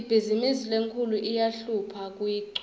ibhizimisi lenkhulu iyahlupha kuyichuba